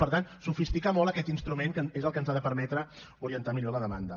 per tant sofisticar molt aquest instrument que és el que ens ha de permetre orientar millor la demanda